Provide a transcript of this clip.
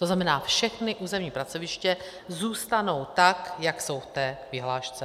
To znamená, všechna územní pracoviště zůstanou tak, jak jsou v té vyhlášce.